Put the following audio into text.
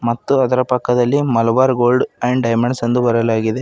ಮತ್ತು ಅದರ ಪಕ್ಕದಲ್ಲಿ ಮಲಬಾರ್ ಗೋಲ್ಡ್ ಅಂಡ್ ಡೈಮಂಡ್ಸ್ ಎಂದು ಬರೆಲಾಗಿದೆ.